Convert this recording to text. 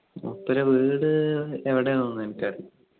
മൂപ്പരെ എവിടെയാണോ ന്നൊന്നും ന്നെനിക്ക് അറീല